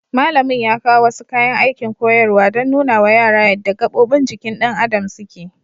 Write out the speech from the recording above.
Malamin ya kawo wasu kayan aikin koyarwa don nunawa yara yadda gabobin jikin ɗan adam suke.